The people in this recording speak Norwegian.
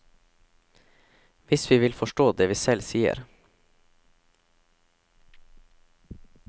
Hvis vi vil forstå det vi selv sier.